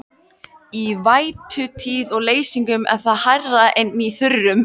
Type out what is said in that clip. Í vætutíð og leysingum er það hærra en í þurrkum.